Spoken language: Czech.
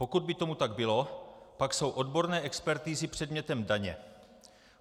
Pokud by tomu tak bylo, pak jsou odborné expertizy předmětem daně.